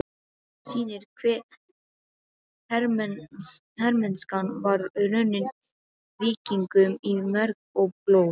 sýnir hve hermennskan var runnin víkingum í merg og blóð.